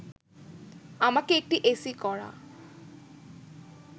আমাকে একটি এসি করা